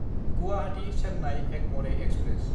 Guwahati-Chennai एगमरे express